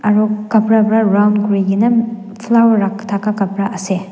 aru khapara pra round kuri kena flower rak thaka khapra ase.